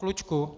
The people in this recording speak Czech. Klučku.